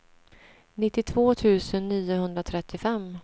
nittiotvå tusen niohundratrettiofem